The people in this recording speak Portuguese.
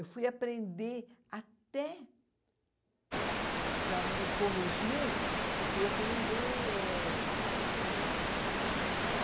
Eu fui aprender até... Para me corrigir, eu fui aprender... Como é que se diz? Ah